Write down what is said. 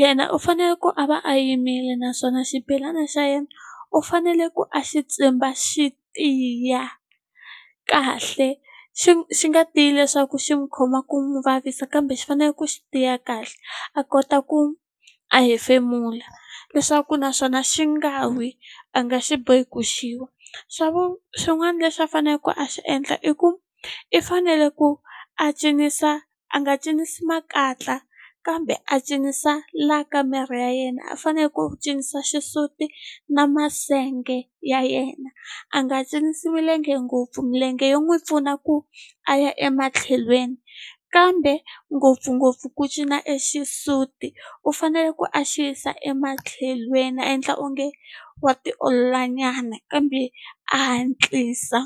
yena u fanele ku a va a yimile naswona xibelana xa yena u fanele ku a xi tsimba xi tiya kahle xi xi nga tiyi leswaku xi n'wi khoma ku n'wi vavisa kambe xi fanele ku xi tiya kahle a kota ku a hefemula leswaku naswona xi nga wi a nga xi bohiki ku xiwa xin'wana lexi a faneleke a xi endla i ku i fanele ku a cinisa a nga cinisi makatla kambe a cinisa la ka miri ya yena a faneleke ku cinisa xisuti na masenge ya yena a nga cinisi milenge ngopfu milenge yo n'wi pfuna ku a ya ematlhelweni kambe ngopfungopfu ku cina exisutini u fanele ku a xiyisa e matlhelweni a endla onge wa tiolola nyana kambe a hatlisa.